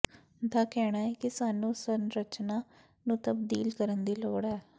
ਦਾ ਕਹਿਣਾ ਹੈ ਕਿ ਸਾਨੂੰ ਸੰਰਚਨਾ ਨੂੰ ਤਬਦੀਲ ਕਰਨ ਦੀ ਲੋੜ ਹੈ